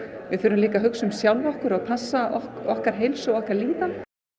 við þurfum líka að hugsa um sjálfa okkur og passa okkar heilsu og okkar líðan